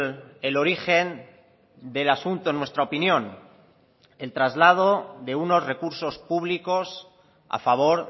el origen del asunto en nuestra opinión el traslado de unos recursos públicos a favor